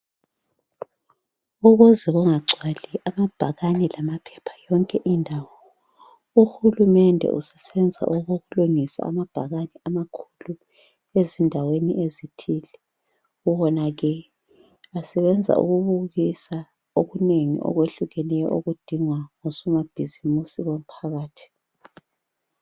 Ukuze kungagcwali amabhakani lamaphepha yonkindawo uhulumende usesenza okokulungisa amabhakane amakhulu , ubona ke sebenza konke okufiswa ngabosomabhizimusi phakathi.